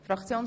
– Nein.